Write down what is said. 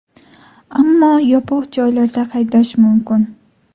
Ammo yopiq joylarda haydash mumkin.